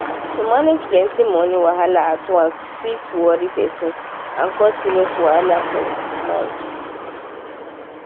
to manage plenty money wahala at once fit worry person and cause serious wahala for mind.